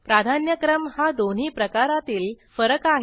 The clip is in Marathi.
प्राधान्यक्रम हा दोन्ही प्रकारातील फरक आहे